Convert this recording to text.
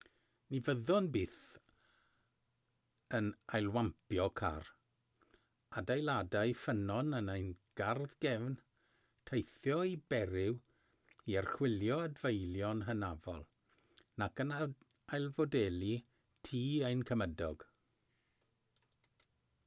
ni fyddwn byth yn ailwampio car adeiladau ffynnon yn ein gardd gefn teithio i beriw i archwilio adfeilion hynafol nac yn ailfodelu tŷ ein cymydog